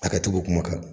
A ka jugu kuma